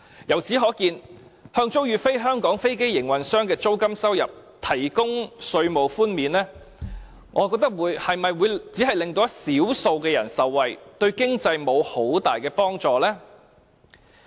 由此可見，向租予"非香港飛機營運商"的租金收入提供稅務寬免，我懷疑只會令少數人受惠，對經濟沒有很大的幫助。